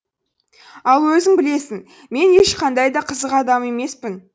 ал өзің білесің мен ешқандай да қызық адам емеспін